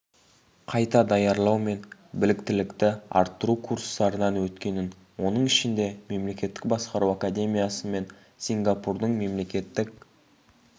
қайта даярлау мен біліктілікті арттыру курстарынан өткенін оның ішінде мемлекеттік басқару академиясы мен сингапурдың мемлекеттік